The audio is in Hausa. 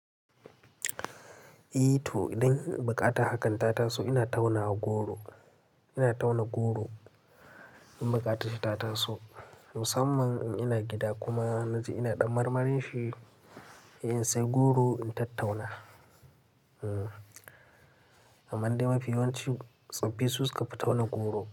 Eh to idan buƙatar hakan tata so ina tauna goro, ina tauna goro in baƙata ce tata so musamman in ina gida kuma na ji ina ɗan marmarin shi, in sai goro in tattauna. Amande mafi yawanci tsofaffi su suka fi tauna goro.